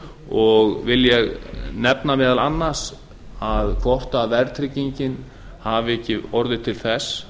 og vil ég nefna meðal annars að hvort verðtryggingin hafi ekki orðið til þess